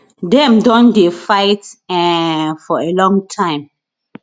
dem don dey fight um for a long time